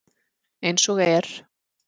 Eins og er.